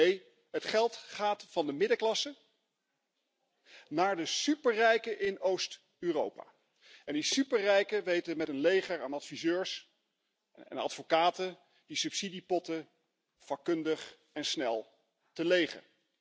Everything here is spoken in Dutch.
Nee, het geld gaat van de middenklasse naar de superrijken in Oost Europa en die superrijken weten met een leger aan adviseurs en advocaten die subsidiepotten vakkundig en snel te legen.